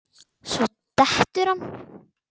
Svo dettur hann út.